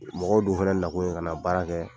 Mɔgɔw dun fana nakun ye ka na baara kɛ